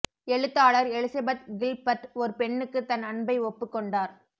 எழுத்தாளர் Elizabeth Gilbert ஒரு பெண்ணுக்கு தன் அன்பை ஒப்புக் கொண்டார்